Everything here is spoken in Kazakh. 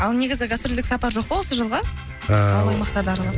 ал негізі гастрольдік сапар жоқ па осы жылға ыыы ауыл аймақтарды аралап